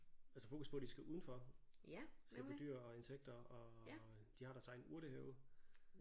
Altså fokus på de skal udenfor se på dyr og insekter og de har deres egen urtehave